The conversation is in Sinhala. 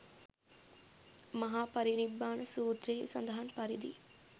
මහා පරිනිබ්බාන සූත්‍රයෙහි සඳහන් පරිදි